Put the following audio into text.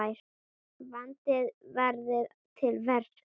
Vandað verði til verka.